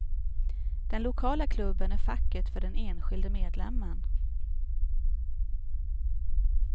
Den lokala klubben är facket för den enskilde medlemmen.